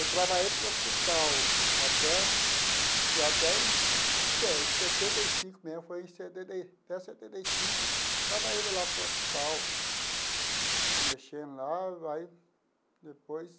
Eu trabalhei para o hospital, até e até em se setenta e cinco mesmo, foi em setenta e até setenta e cinco, trabalhei lá para o hospital, mexendo lá, aí, depois...